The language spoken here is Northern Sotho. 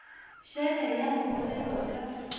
šele ya go bolelwa ka